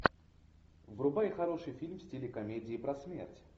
врубай хороший фильм в стиле комедии про смерть